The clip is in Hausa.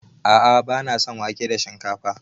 A'a bana son wake da shinkafa.